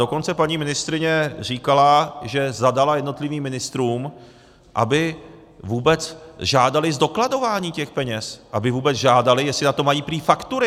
Dokonce paní ministryně říkala, že zadala jednotlivým ministrům, aby vůbec žádali zdokladování těch peněz, aby vůbec žádali, jestli na to mají prý faktury.